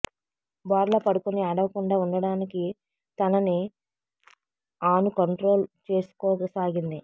బోర్లా పడుకుని ఏడవకుండా ఉండడానికి తనని ఆను కంట్రోల్ చేసుకోసాగింది